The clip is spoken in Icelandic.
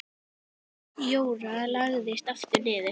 Jóra lagðist aftur niður.